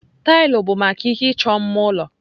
Taịlị bụ maka ihe ịchọ mma ụlọ.